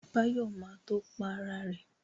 Báyọ̀ ma tó Para ẹ̀